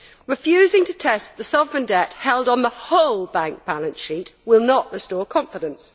Refusing to test the sovereign debt held on the whole bank balance sheet will not restore confidence.